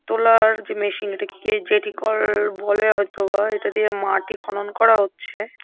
তোলার যে মেশিন । এটাকে জেটিকল-ল বলে হয়তো বা। এটা দিয়ে মাটি খনন করা হচ্ছে।